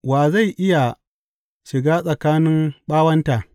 Wa zai iya shiga tsakanin ɓawonta.